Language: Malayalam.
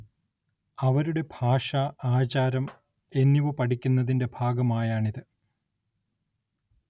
അവരുടെ ഭാഷ, ആചാരം എന്നിവ പഠിക്കുന്നതിന്റെ ഭാഗമായാണിത്‌.